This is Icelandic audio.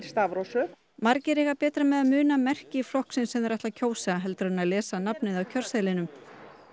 stafrófsröð margir eiga betra með að muna merki flokksins sem þeir ætla að kjósa heldur en að lesa nafnið af kjörseðlinum